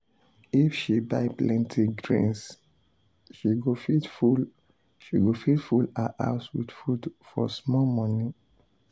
if she buy plenty grains she go fit full go fit full her house with food for small money.